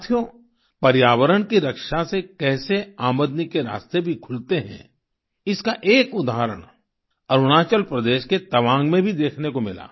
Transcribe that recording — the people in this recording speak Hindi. साथियो पर्यावरण की रक्षा से कैसे आमदनी के रास्ते भी खुलते हैं इसका एक उदाहरण अरुणाचल प्रदेश के तवांग में भी देखने को मिला